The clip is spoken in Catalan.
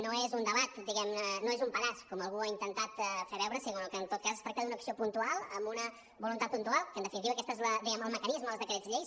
no és un debat diguem ne no és un pedaç com algú ha intentat fer veure sinó que en tot cas es tracta d’una acció puntual amb una voluntat puntual que en definitiva aquest és el mecanisme dels decrets lleis